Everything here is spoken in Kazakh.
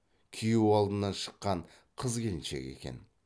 күйеу алдынан шыққан қыз келіншек екен